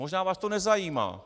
Možná vás to nezajímá.